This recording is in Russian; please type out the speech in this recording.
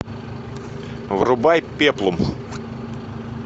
врубай пеплум